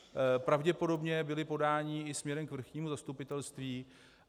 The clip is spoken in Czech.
Pravděpodobně byla podání i směrem k Vrchnímu zastupitelství.